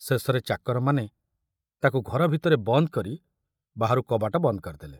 ଶେଷରେ ଚାକରମାନେ ତାକୁ ଘର ଭିତରେ ବନ୍ଦ କରି ବାହାରୁ କବାଟ ବନ୍ଦ କରିଦେଲେ।